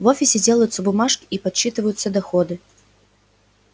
в офисе делаются бумажки и подсчитываются доходы